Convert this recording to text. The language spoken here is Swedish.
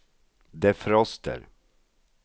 defroster